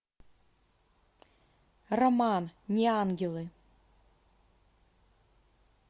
роман не ангелы